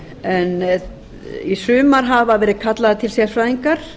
en í sumar hafa verið kallaðir til sérfræðingar